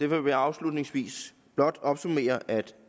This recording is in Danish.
vil jeg afslutningsvis blot opsummere at